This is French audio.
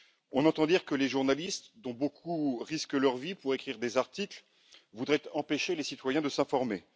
On entend dire que les journalistes, dont beaucoup risquent leur vie pour écrire des articles, voudraient empêcher les citoyens de s'informer.